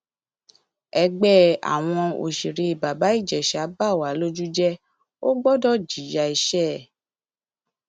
ẹgbẹ àwọn òṣèré bàbá ìjèṣà bá wà lójú lójú jẹ ó gbọdọ jìyà ẹṣẹ ẹ